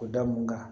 O da mun kan